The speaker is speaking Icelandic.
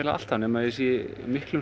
alltaf nema ég sé í miklum